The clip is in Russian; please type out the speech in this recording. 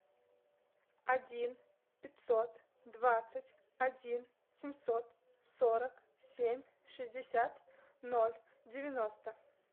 один пятьсот двадцать один семьсот сорок семь шестьдесят ноль девяносто